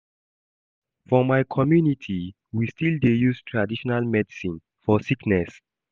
For my community, we still dey use traditional medicine for sickness.